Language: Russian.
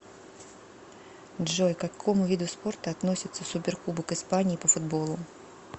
джой к какому виду спорта относится суперкубок испании по футболу